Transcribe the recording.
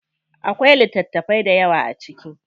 Akwai littatafai dayawa a ciki.